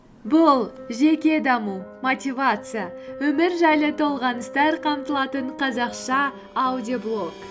бұл жеке даму мотивация өмір жайлы толғаныстар қамтылатын қазақша аудиоблог